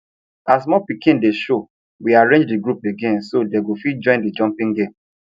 as more piking dey show we arrange the group again so dey go fit join the jumpping game